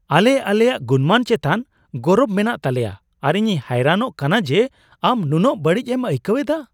ᱟᱞᱮ ᱟᱞᱮᱭᱟ ᱜᱩᱱᱢᱟᱹᱱ ᱪᱮᱛᱟᱱ ᱜᱚᱨᱚᱵ ᱢᱮᱱᱟᱜ ᱛᱟᱞᱮᱭᱟ ᱟᱨ ᱤᱧᱤᱧ ᱦᱚᱭᱨᱟᱱᱚᱜ ᱠᱟᱱᱟ ᱡᱮ ᱟᱢ ᱱᱩᱱᱟᱹᱜ ᱵᱟᱹᱲᱤᱡ ᱮᱢ ᱟᱹᱭᱠᱟᱹᱣ ᱮᱫᱟ ᱾